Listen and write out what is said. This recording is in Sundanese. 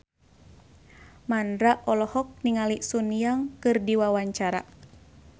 Mandra olohok ningali Sun Yang keur diwawancara